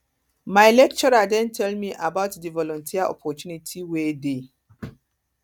my lecturer don tell me about di volunteer opportunity wey dey